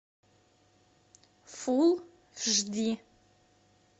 фул жди